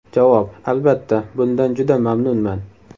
Javob: Albatta, bundan juda mamnunman.